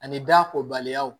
Ani da kobaliyaw